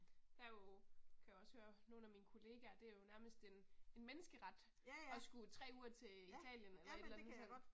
Der er jo, kan jeg også høre nogle af mine kollegaer, det er jo nærmest en en menneskeret at skulle 3 uger til Italien eller et eller andet sådan